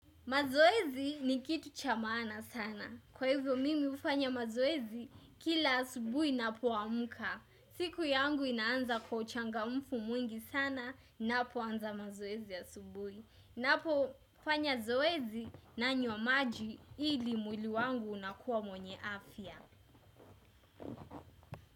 Mazoezi ni kitu cha maana sana. Kwa hivyo mimi hufanya mazoezi kila asubuhi ninapoamka. Siku yangu inaanza kwa uchangamfu mwingi sana napoanza mazoezi asubuhi. Napofanya zoezi nanywa maji ili mwili wangu unakuwa mwenye afya.